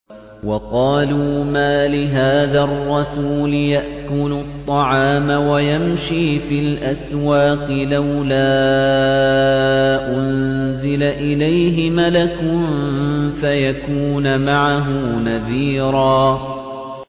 وَقَالُوا مَالِ هَٰذَا الرَّسُولِ يَأْكُلُ الطَّعَامَ وَيَمْشِي فِي الْأَسْوَاقِ ۙ لَوْلَا أُنزِلَ إِلَيْهِ مَلَكٌ فَيَكُونَ مَعَهُ نَذِيرًا